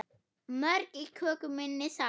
Mörg í köku minni sá.